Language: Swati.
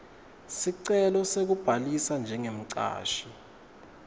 sicelo sekubhalisa njengemcashi